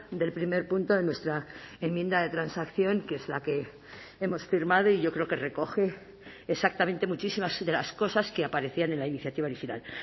del primer punto de nuestra enmienda de transacción que es la que hemos firmado y yo creo que recoge exactamente muchísimas de las cosas que aparecían en la iniciativa original